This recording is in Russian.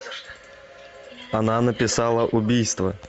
она написала убийство